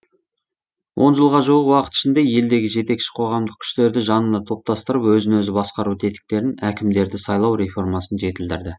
он жылға жуық уақыт ішінде елдегі жетекші қоғамдық күштерді жанына топтастырып өзін өзі басқару тетіктерін әкімдерді сайлау реформасын жетілдірді